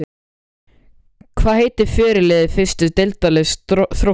Hvað heitir fyrirliði fyrstu deildarliðs Þróttar?